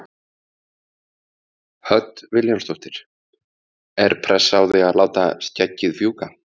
Hödd Vilhjálmsdóttir: Er pressa á þig að láta skeggið fjúka?